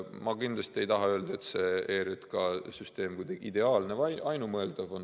Ma kindlasti ei taha öelda, et see ERJK süsteem on kuidagi ideaalne või ainumõeldav.